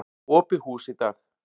Opið hús í dag.